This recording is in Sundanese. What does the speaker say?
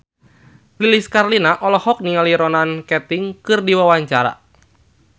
Lilis Karlina olohok ningali Ronan Keating keur diwawancara